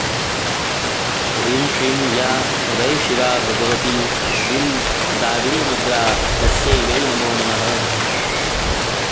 ह्रीं श्रीं या वै शिवा भगवती द्रीं दाविणीमुद्रा तस्यै वै नमो नमः